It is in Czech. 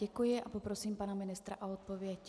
Děkuji a poprosím pana ministra o odpověď.